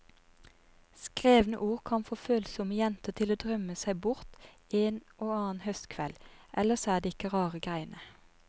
Skrevne ord kan få følsomme jenter til å drømme seg bort en og annen høstkveld, ellers er det ikke rare greiene.